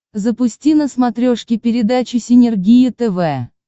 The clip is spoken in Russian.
запусти на смотрешке передачу синергия тв